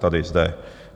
Tady, zde.